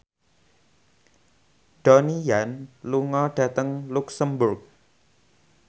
Donnie Yan lunga dhateng luxemburg